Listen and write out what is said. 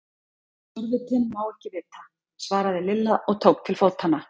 Það sem forvitinn má ekki vita! svaraði Lilla og tók til fótanna.